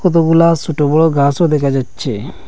কতগুলা সোট বড় গাসও দেখা যাচ্ছে।